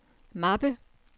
mappe